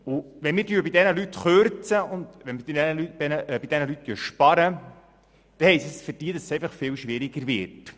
Wenn wir bei diesen Leuten Kürzungen vornehmen, wenn wir bei diesen Leuten sparen, bedeutet das für sie, dass es für sie viel schwieriger wird.